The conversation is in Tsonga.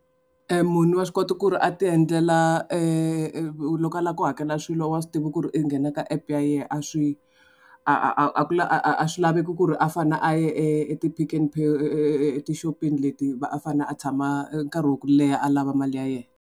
Munhu wa swi kota ku ri a ti endlela loko a lava ku hakela swilo wa swi tiva ku ri u nghena ka app ya yena a swi a a a a ku a a a swi laveki ku ri a fanele a ye e e ti-Pick n Pay etixopini leti va a fanele a tshama nkarhi wa ku leha a lava mali ya yena.